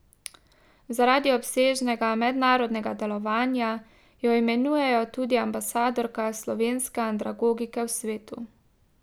Zaradi obsežnega mednarodnega delovanja jo imenujejo tudi ambasadorka slovenske andragogike v svetu.